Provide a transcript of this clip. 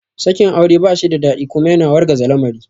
Sakin aure ba shida daɗi kuma yana wargaza lamari